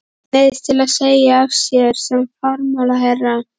Neyðist til að segja af sér sem fjármálaráðherra.